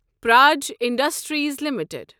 purge industries limited